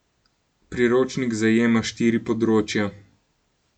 Priročnik zajema štiri področja.